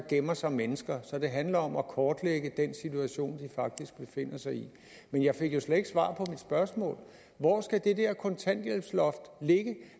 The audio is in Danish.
gemmer sig mennesker så det handler om at kortlægge den situation de faktisk befinder sig i men jeg fik jo slet ikke svar på mit spørgsmål hvor skal det der kontanthjælpsloft ligge